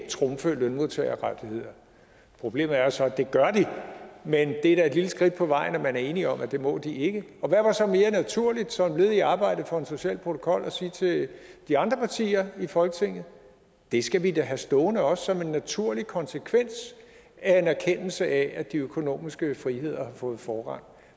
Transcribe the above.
trumfe lønmodtagerrettigheder problemet er jo så at det gør de men det er da et lille skridt på vejen at man er enig om at det må de ikke og hvad var så mere naturligt som et led i arbejdet for en social protokol end at sige til de andre partier i folketinget det skal vi da have stående også som en naturlig konsekvens af en erkendelse af at de økonomiske friheder har fået forrang